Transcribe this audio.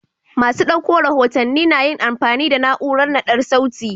Masu ɗauko rahotanni na yin amfani da na'urar naɗar sauti.